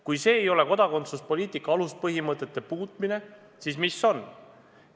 Kui see ei ole kodakondsuspoliitika aluspõhimõtete muutmine, siis mis on?